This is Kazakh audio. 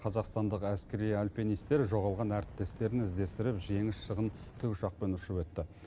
қазақстандық әскери альпинистер жоғалған әріптестерін іздестіріп жеңіс шыңын тікұшақпен ұшып өтті